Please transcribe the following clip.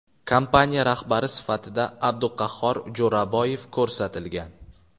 Kompaniya rahbari sifatida Abduqahhor Jo‘raboyev ko‘rsatilgan.